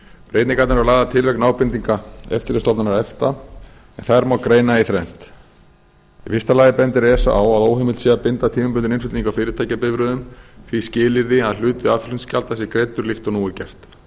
breytingarnar eru lagðar til vegna ábendinga eftirlitsstofnunar efta en þær má greina í þrennt í fyrsta lagi bendir esa á að óheimilt sé að binda tímabundinn innflutning á fyrirtækjabifreiðum því skilyrði að hluti aðflutningsgjalda sé greiddur líkt og nú er gert